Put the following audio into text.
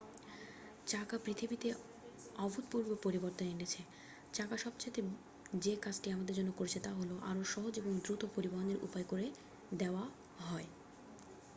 চাকা পৃথিবীতে অভূতপূর্ব পরিবর্তন এনেছে চাকা সবচেয়ে যে কাজটি আমাদের জন্য করেছে তা হল আরও সহজ এবং দ্রুত পরিবহণের উপায় করে দেওয়া হয়